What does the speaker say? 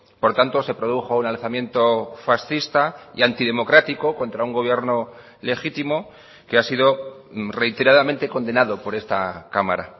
por tanto se produjo un alzamiento fascista y antidemocrático contra un gobierno legítimo que ha sido reiteradamente condenado por esta cámara